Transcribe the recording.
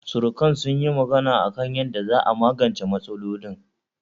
Surukan sun yi magana a kan yanda za'a magance matsalolin